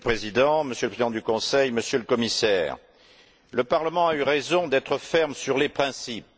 Monsieur le Président, Monsieur le Président du Conseil, Monsieur le Commissaire, le Parlement a eu raison d'être ferme sur les principes.